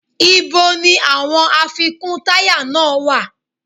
Ìbo ni àwọn àfikún táyà náà wá?